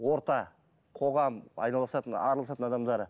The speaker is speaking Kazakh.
орта қоғам араласатын адамдары